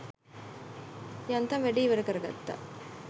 යන්තම් වැඩේ ඉවර කරගත්ත.